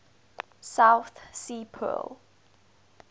south sea pearl